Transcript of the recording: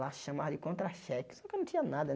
Lá chamava de contra-cheque, só que eu não tinha nada, né?